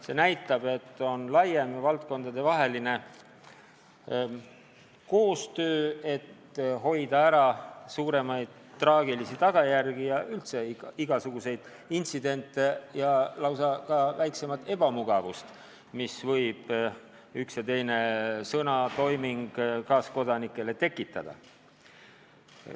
Seega tegu on laiema, valdkondadevahelise koostööga, et hoida ära traagilisi tagajärgi ja üldse igasuguseid intsidente ja ka väiksemaid ebamugavusi, mida võib üks või teine sõna või toiming kaaskodanikele tekitada.